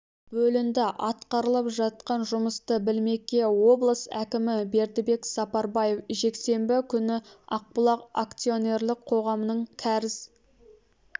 бөлінді атқарылып жатқан жұмысты білмекке облыс әкімі бердібек сапарбаев жексенбі күні ақбұлақ акционерлік қоғамының кәріз